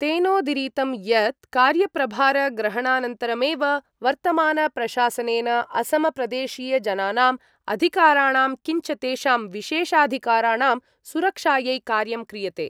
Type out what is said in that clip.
तेनोदीरितं यत् कार्यप्रभारग्रहणानन्तरमेव वर्तमानप्रशासनेन असमप्रदेशीयजनानां अधिकाराणां किञ्च तेषां विशेषाधिकराणां सुरक्षायै कार्यं क्रियते।